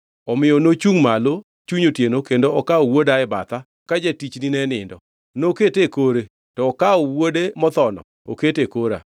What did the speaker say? Omiyo nochungʼ malo chuny otieno kendo okaw wuoda e batha ka jatichni ne nindo. Nokete e kore to okawo wuode mothono oketo e kora.